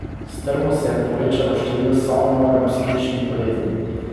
Strmo se je povečalo število samomorov in psihičnih bolezni.